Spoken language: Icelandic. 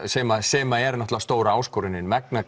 sem sem er stóra áskorunin vegna